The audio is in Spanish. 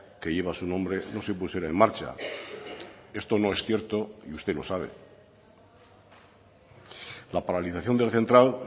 que lleva su nombre no se pusiera en marcha esto no es cierto y usted lo sabe la paralización de la central